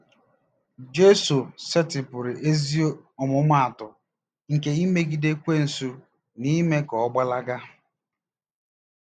Jesu setịpụrụ ezi ọmụmaatụ nke imegide Ekwensu na ime ka ọ gbalaga.